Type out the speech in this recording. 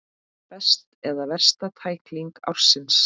Besta eða versta tækling ársins?